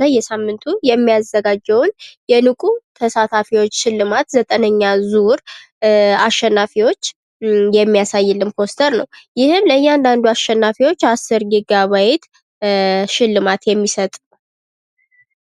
በየሳምንቱ የሚያዘጋጀውን የንቁ ተሳታፊዎች ሽልማት ዘጠነኛ ዙር አሸናፊዎች የሚያሳይልን ፖስተር ነው። ይህም ለእያንዳንዱ አሸናፊዎች አስር ጊጋባይት ሽልማት የሚሰጥ።